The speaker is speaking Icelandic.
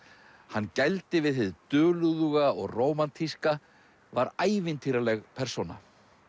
hann gældi við hið dulúðuga og rómantíska var ævintýraleg persóna